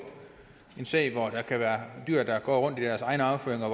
en sag hvor der kan være dyr der går rundt i deres egen afføring og